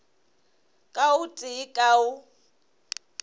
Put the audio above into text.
ka o tee ka o